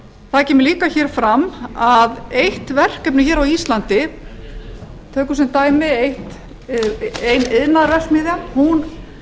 það kemur líka hér fram að eitt verkefni hér á íslandi tökum sem dæmi ein iðnaðarverksmiðja hún